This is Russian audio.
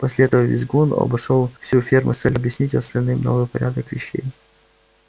после этого визгун обошёл всю ферму с целью объяснить остальным новый порядок вещей